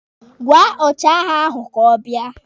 Gwaa ọchịagha ahụ ka ọ bịa!